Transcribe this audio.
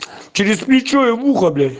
через плечо и в ухо блять